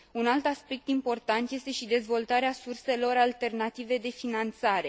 Un alt aspect important este și dezvoltarea surselor alternative de finanțare.